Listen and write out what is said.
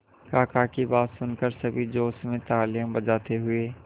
काका की बात सुनकर सभी जोश में तालियां बजाते हुए